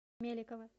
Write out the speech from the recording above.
меликова